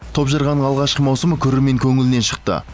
топжарған алғашқы маусымы көрермен көңілінен шықты